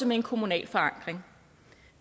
med en kommunal forankring